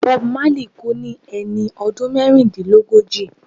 Bob Marley kú ní ẹni ọdún mẹ́rìndínlógójì.